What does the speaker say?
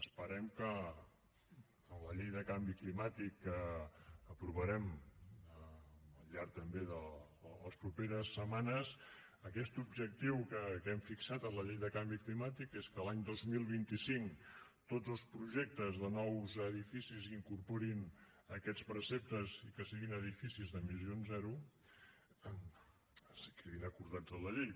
esperem que en la llei de canvi climàtic que aprovarem al llarg també de les properes setmanes aquest objectiu que hem fixat en la llei de canvi climàtic que és que l’any dos mil vint cinc tots els projectes de nous edificis incorporin aquests preceptes i que siguin edificis d’emissions zero quedin acordats en la llei